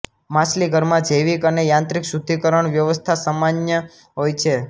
માછલીઘરમાં જૈવિક અને યાંત્રિક શુદ્ધિકરણ વ્યવસ્થા સામાન્ય હોય છે